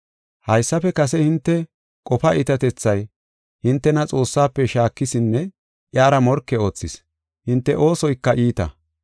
Haysafe kase hinte qofaa iitatethay hintena Xoossaafe shaakisinne iyara morke oothis; hinte oosoyka iita.